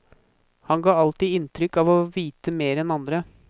Han ga alltid inntrykk av å vite mer enn andre.